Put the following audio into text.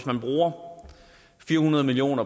man bruger fire hundrede million